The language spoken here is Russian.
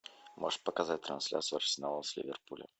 можешь показать трансляцию арсенала с ливерпулем